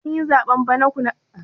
Kin yi zaɓen bara kuwa?